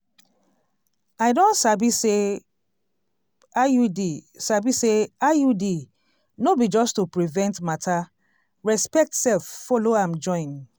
i don sabi say iud sabi say iud no be just to prevent matter respect sef follow am join.